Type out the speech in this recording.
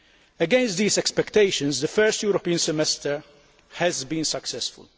Against these expectations the first European Semester has been successful.